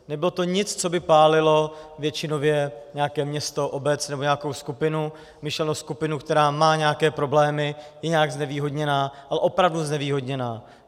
Nebylo to nic, co by pálilo většinově nějaké město, obec nebo nějakou skupinu, myšleno skupinu, která má nějaké problémy, je nějak znevýhodněná, ale opravdu znevýhodněná.